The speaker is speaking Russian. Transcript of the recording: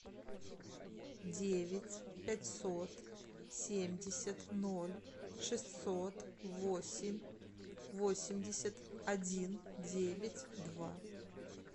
девять пятьсот семьдесят ноль шестьсот восемь восемьдесят один девять два